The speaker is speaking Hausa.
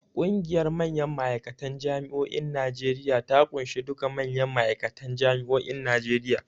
Ƙungiyar manyan ma'aikatan Jami'o'in Najeriya ta ƙunshi duka manyan ma'aikatan Jami'o'in Najeriya.